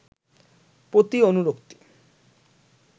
পতি অনুরক্তি